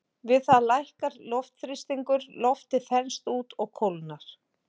Við það lækkar loftþrýstingur, loftið þenst út og kólnar.